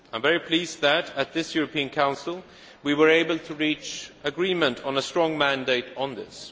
I am very pleased that at this European Council, we were able to reach agreement on a strong mandate on this.